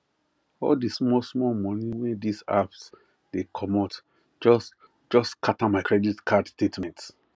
all the small small money wey this apps dey commot just just scatter my credit card statement